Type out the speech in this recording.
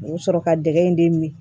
U bɛ sɔrɔ ka dɛgɛ in de min